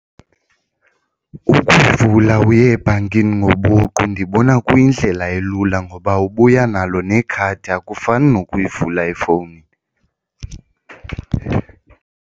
Ukuvula uye ebhankini ngobuqu ndibona kuyindlela elula ngoba ubuya nalo nekhadi akufani nokuyivula efowunini.